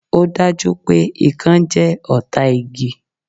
Ò dá jú pé Ikán jẹ́ ọ̀tá igi